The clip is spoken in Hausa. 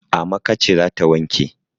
Amaka ce za ta wanke.